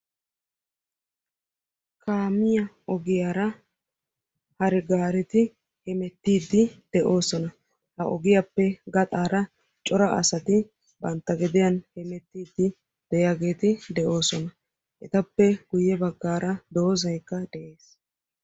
Kaamiyaa ogiyaara hare gaareti hemeettiidi de'oosona. ogiyaappe gaxaara cora asati bantta gediyaan hemettiidi de'iyaageti de'oosona. etappe guye baggaara doozzaykka dees.